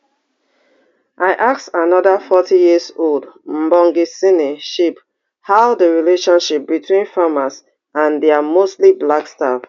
i ask anoda forty years old mbongiseni shibe how di relationship between farmers and dia mostly black staff